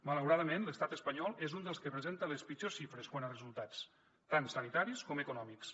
malauradament l’estat espanyol és un dels que presenta les pitjors xifres quant a resultats tant sanitaris com econòmics